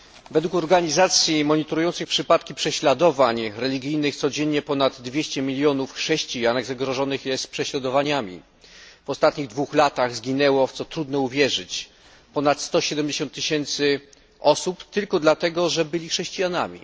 Według organizacji monitorujących przypadki prześladowań religijnych codziennie ponad 200 milionów chrześcijan zagrożonych jest prześladowaniami. W ostatnich dwóch latach zginęło, w co trudno uwierzyć, ponad 170 tysięcy osób tylko dlatego, że byli chrześcijanami.